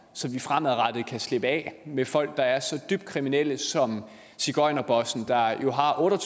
så vi fremadrettet kan slippe af med folk der er så dybt kriminelle som sigøjnerbossen der jo har otte og